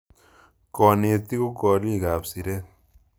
Kanetik ko kolik ap siret